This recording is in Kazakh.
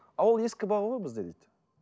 а ол ескі баға ғой бізде дейді